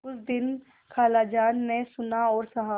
कुछ दिन खालाजान ने सुना और सहा